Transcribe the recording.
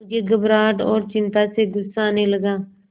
मुझे घबराहट और चिंता से गुस्सा आने लगा